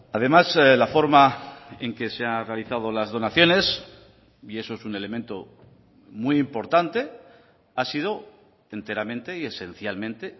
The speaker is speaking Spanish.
además la forma en que se ha realizado las donaciones y eso es un elemento muy importante ha sido enteramente y esencialmente